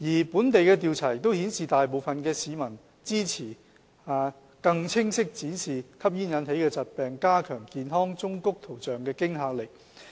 本地的調查亦顯示，大部分市民支持更清晰地展示吸煙引起的疾病，加強健康忠告圖像的驚嚇力。